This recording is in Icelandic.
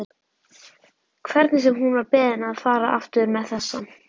Hvernig sem hún var beðin að fara aftur með þessa